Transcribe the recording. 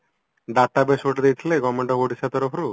data base ଗୋଟେ ଦେଇଥିଲେ government Odisha ତରଫରୁ